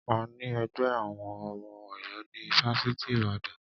A ní ẹgbẹ́ àwọn ọmọ Ọ̀yọ́ ní ifáfitì Ibadan.